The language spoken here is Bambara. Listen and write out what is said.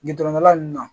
Gindo la nun na